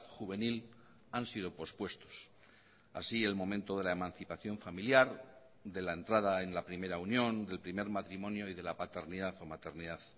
juvenil han sido pospuestos así el momento de la emancipación familiar de la entrada en la primera unión del primer matrimonio y de la paternidad o maternidad